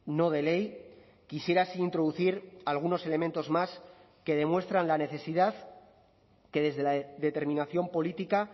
no de ley quisiera así introducir algunos elementos más que demuestran la necesidad que desde la determinación política